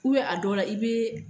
a dɔ la i bɛ.